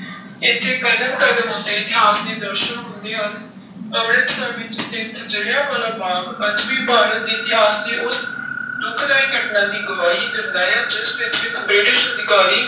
ਇੱਥੇ ਕਦਮ ਕਦਮ ਉੱਤੇ ਇਤਿਹਾਸ ਦੇ ਦਰਸਨ ਹੁੰਦੇ ਹਨ, ਅੰਮ੍ਰਿਤਸਰ ਵਿੱਚ ਸਥਿੱਤ ਜ਼ਿਲ੍ਹਿਆਂ ਵਾਲਾ ਬਾਗ਼ ਅੱਜ ਵੀ ਭਾਰਤ ਦੇ ਇਤਿਹਾਸ ਦੀ ਉਸ ਦੁਖਦਾਈ ਘਟਨਾ ਦੀ ਗਵਾਹੀ ਦਿੰਦਾ ਹੈ ਜਿਸ ਵਿੱਚ ਇੱਕ ਬ੍ਰਿਟਿਸ਼ ਅਧਿਕਾਰੀ